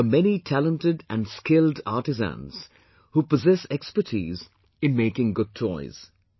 There are many talented and skilled artisans who possess expertise in making good toys